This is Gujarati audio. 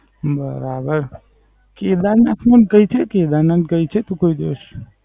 બરાબર. કેદારનાથ નું કઈ છે? કેદારનાથ ગઈ છે તું કોઈ દિવસ?